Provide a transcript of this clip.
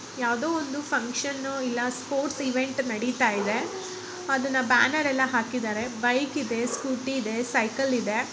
ಯಾವ್ದೋ ಒಂದು ಫಕ್ಷನ್ ಇಲ್ಲ ಸ್ಪೋರ್ಟ್ಸ್ ಈವೆಂಟ್ ನಡೀತಾ ಇದೆ. ಅದನ್ನ ಬಾನೆರೆಲ್ಲಾ ಹಾಕಿದ್ದಾರೆ. ಬೈಕ್ ಇದೆ ಸ್ಕೂಟಿ ಇದೆ ಸೈಕಲ್ ಇದೆ.